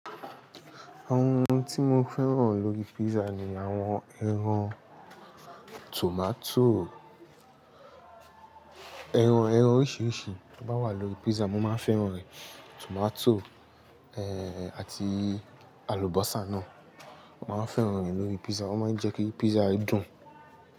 Àwọn ohun tí mo fẹ́ràn lórí pizza ni àwọn ẹran, tomato, ẹran, ẹran oríṣiríṣi to bá wà lórí pizza mo máa fẹ́ràn rẹ̀. Tomato, àti àlùbọ́sà náà. Mo máa ń fẹ́ràn rẹ̀ lórí pizza, wọ́n máa ń jẹ́ kí pizza dùn.